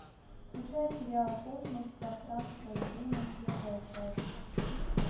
включай сериал космос пространство и время первая часть